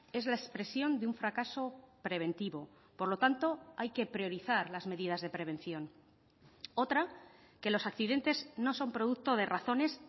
es la expresión de un fracaso preventivo por lo tanto hay que priorizar las medidas de prevención otra que los accidentes no son producto de razones